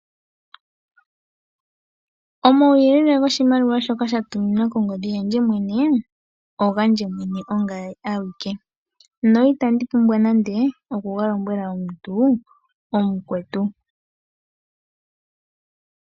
Omauyele goshimaliwa shoka sha tuminwa kongodhi yandje mwene, ogandje mwene ongame awike noitandi pumbwa nande okuga lombwela omuntu omukwetu.